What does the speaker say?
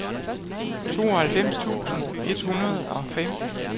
tooghalvfems tusind et hundrede og fem